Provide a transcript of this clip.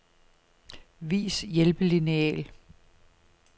Vis hjælpelineal.